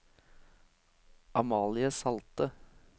Amalie Salte